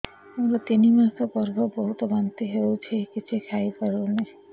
ମୋର ତିନି ମାସ ଗର୍ଭ ବହୁତ ବାନ୍ତି ହେଉଛି କିଛି ଖାଇ ପାରୁନି